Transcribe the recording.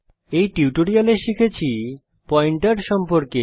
এই টিউটোরিয়ালে আমরা শিখেছি পয়েন্টার সম্পর্কে